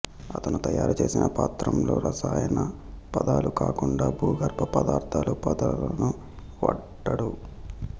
అతను తయారుచేసిన పత్రంలో రసాయన పదాలు కాకుండా భూగర్భ పదార్థల పదాలను వాడాడు